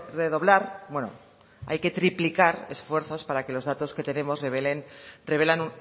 redoblar bueno hay que triplicar esfuerzos porque los datos que tenemos revelan